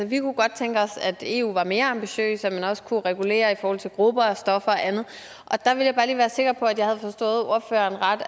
vi kunne godt tænke os at eu var mere ambitiøs at man også kunne regulere i forhold til grupper af stoffer og andet der vil jeg bare lige være sikker på at jeg har forstået ordføreren ret